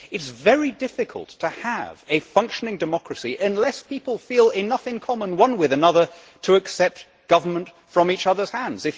It is very difficult to have a functioning democracy unless people feel enough in common with one another to accept government from each other's hands.